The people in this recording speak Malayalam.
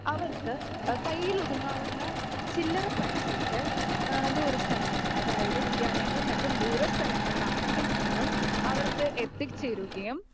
അവർക്ക് കൈയ്യയിലൊതുങ്ങാവുന്ന ചില്ലറ പൈസക്ക് ദൂരസ്ഥലങ്ങളിൽ, അതായത് വിദ്യാലയങ്ങളും മറ്റും ദൂരസ്ഥലങ്ങളിൽ ആണെങ്കിൽ പോലും അവർക്ക് എത്തിച്ചേരുകയും